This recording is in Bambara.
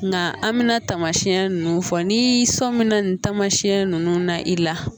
Nka an mina tamasiyɛn nunnu fɔ ni sominɛn tamasiɲɛ ninnu na i la